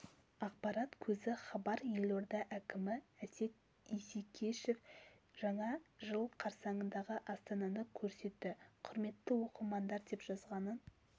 ақпарат көзі хабар елорда әкімі әсет исекешев жаңа жыл қарсаңындағы астананы көрсетті құрметті оқырмандар деп жазғанын